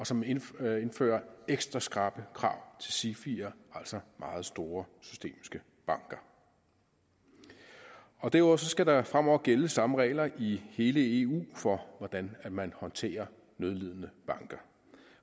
som indfører indfører ekstra skrappe krav til sifier altså meget store systemiske banker derudover skal der fremover gælde samme regler i hele eu for hvordan man håndterer nødlidende banker